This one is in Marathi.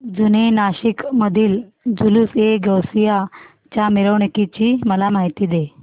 जुने नाशिक मधील जुलूसएगौसिया च्या मिरवणूकीची मला माहिती दे